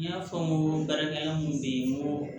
N y'a fɔ n ko baarakɛla mun be yen n ko